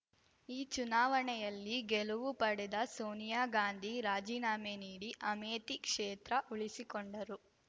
ಈ ಚುನಾವಣೆಯಲ್ಲಿ ಗೆಲುವು ಪಡೆದ ಸೋನಿಯಾ ಗಾಂಧಿ ರಾಜೀನಾಮೆ ನೀಡಿ ಅಮೇಥಿ ಕ್ಷೇತ್ರ ಉಳಿಸಿಕೊಂಡರು